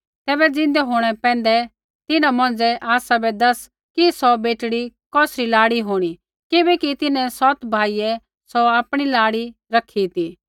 तैबै ज़िन्दै होंणै पैंधै सौ तिन्हां मौंझ़ै आसाबै दैसा कि सौ बेटड़ी कौसरी लाड़ी होंणी किबैकि तिन्हैं सौतै भाइयै सौ आपणी लाड़ी रखी ती